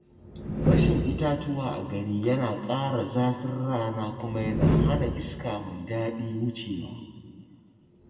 Rashin itatuwa a gari yana ƙara zafin rana kuma yana hana iska mai daɗi wucewa.